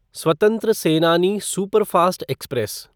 स्वतंत्र सेनानी superfast express